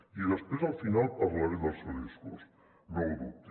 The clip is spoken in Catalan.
i després al final parlaré del seu discurs no ho dubti